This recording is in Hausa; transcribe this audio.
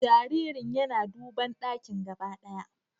Jaririn yana duban dakin gaba ɗaya